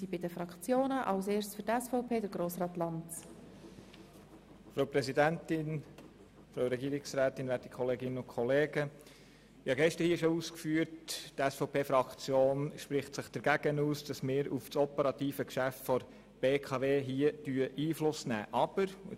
Wie ich gestern schon ausgeführt habe, spricht sich die SVP-Fraktion dagegen aus, dass wir hier auf das operative Geschäft der BKW Einfluss nehmen.